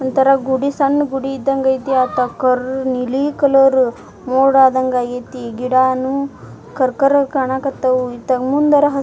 ಒಂತರ ಗುಡಿ ಸಣ್ಣ ಗುಡಿ ಇದಂಗ್ ಅಯ್ತಿ ಅತ್ತ ಕರ್ರ್ ನೀಲಿ ಕಲರ್ ಮೋಡ ಆದಂಗ್ ಆಗೈತಿ ಗಿಡನು ಕರ್ ಕರ್ ಕಾಣಕತ್ತವು ಇತ್ತಾಗ ಮುಂದರ --